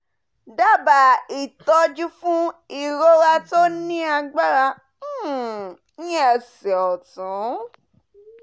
daba itoju fun irora to ni agbara um ni ese otun